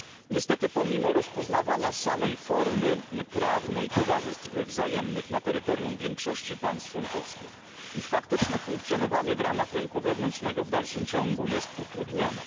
Niestety pomimo rozpoznawania samej formy prawnej towarzystw wzajemnych na terytorium większości państw członkowskich, ich faktyczne funkcjonowanie z ramach rynku wewnętrznego w dalszym ciągu jest utrudnione.